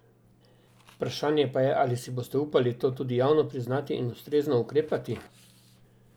Vprašanje pa je, ali si boste upali to tudi javno priznati in ustrezno ukrepati?